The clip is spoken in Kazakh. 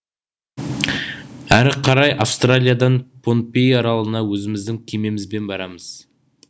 әрі қарай австралиядан понпей аралына өзіміздің кемемізбен барамыз